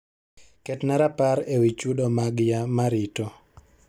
ketna rapar ewi chudo mag ya marito